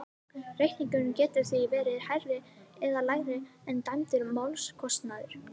Reikningurinn getur því verið hærri eða lægri en dæmdur málskostnaður.